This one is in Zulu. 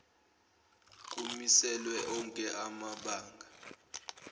kumiselwe onke amabanga